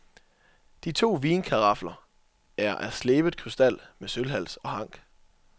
De to vinkarafler er af slebet krystal med sølvhals og hank.